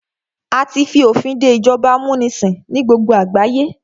A tí fi òfin dé ìjọba amúnisìn ní gbogbo àgbáyé.